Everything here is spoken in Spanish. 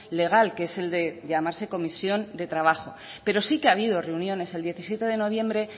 legal que es el de llamarse comisión de trabajo pero sí que ha habido reuniones el diecisiete de noviembre